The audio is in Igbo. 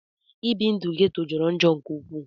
Ibi ndu ghetto jọrọ njọ nke ukwu.